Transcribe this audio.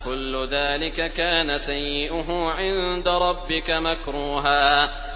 كُلُّ ذَٰلِكَ كَانَ سَيِّئُهُ عِندَ رَبِّكَ مَكْرُوهًا